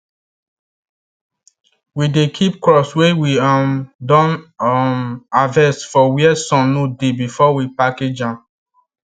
we dey keep crops wey we um don um harvest for where sun no dey before we package am